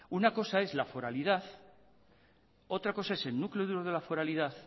una cosa es la foralidad otra cosa es el núcleo de la foralidad